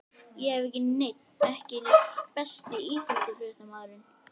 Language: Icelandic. Ég hef ekki neinn EKKI besti íþróttafréttamaðurinn?